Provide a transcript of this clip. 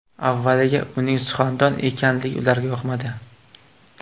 Avvaliga uning suxandon ekanligi ularga yoqmadi.